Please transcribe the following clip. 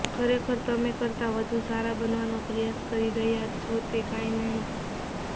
ખરેખર તમે કરતા વધુ સારા બનવાનો પ્રયાસ કરી રહ્યાં છો તે કાંઇ નહીં